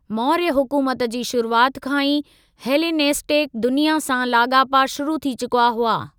मौर्य हुकुमत जी शुरुआति खां ई हेलेनिस्टिक दुनिया सां लाॻापा शुरु थी चुका हुआ।